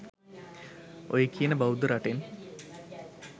ඔය කියන බෞද්ධ රටෙන්